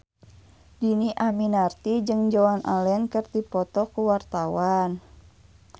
Dhini Aminarti jeung Joan Allen keur dipoto ku wartawan